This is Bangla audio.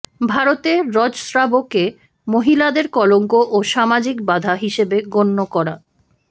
ভারতে রজস্রাবকে মহিলাদের কলঙ্ক ও সামাজিক বাধা হিসেবে গণ্য করা